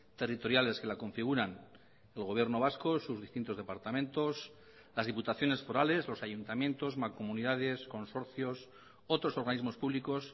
territoriales que la configuran el gobierno vasco sus distintos departamentos las diputaciones forales los ayuntamientos mancomunidades consorcios otros organismos públicos